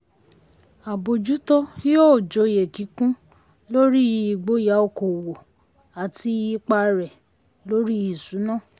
àbójútó yóò jọyé kíkún lórí ìgboyà okòowò àti ipa rẹ̀ lórí ìṣúná.